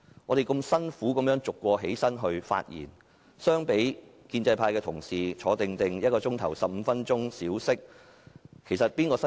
我們辛辛苦苦逐一站起來發言，相比建制派同事安坐1小時、小息15分鐘，究竟誰比較辛苦？